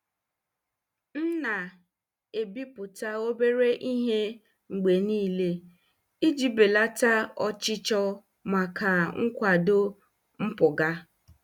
M na-ebipụta obere ihe mgbe niile iji belata ọchịchọ maka nkwado mpụga.